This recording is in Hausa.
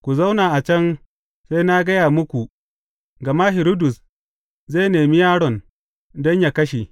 Ku zauna a can sai na gaya muku, gama Hiridus zai nemi yaron don yă kashe.